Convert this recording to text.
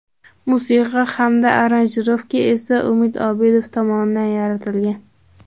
Musiqa hamda aranjirovka esa Umid Obidov tomonidan yaratilgan.